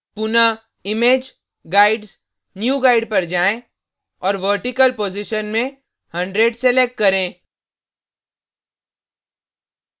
पुनः image guides new guide पर जाएँ और vertical position में 100 select करें